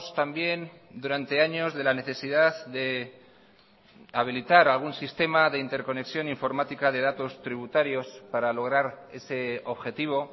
también durante años de la necesidad de habilitar algún sistema de interconexión informática de datos tributarios para lograr ese objetivo